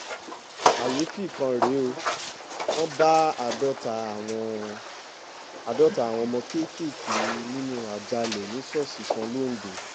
kàyééfì kan rèé ó wọ́n bá àádọ́ta àwọn àádọ́ta àwọn ọmọ kéékèèké nínú àjàalẹ̀ ní ṣọ́ọ̀ṣì kan lońdó